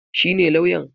Shi ne lawyan?